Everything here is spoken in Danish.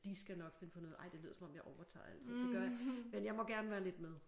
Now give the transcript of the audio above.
De skal nok finde på noget ej det lyder som om jeg overtager alting det gør men jeg må gerne være lidt med